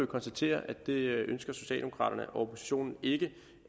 konstatere at det ønsker socialdemokraterne og oppositionen ikke